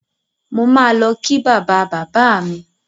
Mo máa lọ kí bàba-bàbá mi